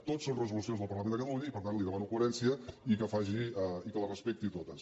tots són resolucions del parlament de catalunya i per tant li demano coherència i que les respecti totes